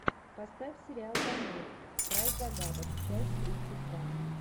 поставь сериал памир край загадок часть тридцать два